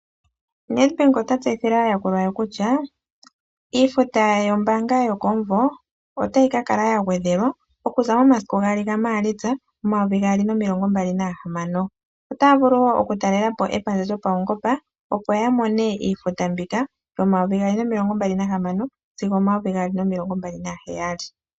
Netbank ota tseyithile aayakulwa ye kutya iifuta yombaanga yokomumvo ota yi ka kala ya ngwedhelwa okuza momasiku gaali ga maalitsa 2026,otaa luvu wo oku talelapo epandja lyopaungomba opo yamone iifuta mbika mo 2026 sigo 2026.